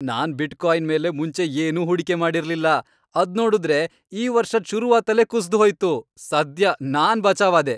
ನಾನ್ bitcoin ಮೇಲೆ ಮುಂಚೆ ಏನೂ ಹೂಡಿಕೆ ಮಾಡಿರ್ಲಿಲ್ಲ, ಅದ್ನೋಡುದ್ರೆ ಈ ವರ್ಷದ್ ಶುರುವಾತಲ್ಲೇ ಕುಸ್ದ್ ಹೋಯ್ತು.. ಸದ್ಯ ನಾನ್ ಬಚಾವ್ ಆದೆ!